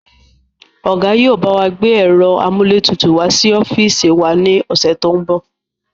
Ọ̀gá yìí ó bawa gbé ẹ̀rọ amúlétutù wá sí ọ́fíìsì wá ní ọ̀sẹ̀ to ń bọ̀